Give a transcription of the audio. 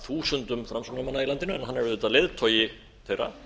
þúsundum framsóknarmanna í landinu en hann er auðvitað leiðtogi þeirra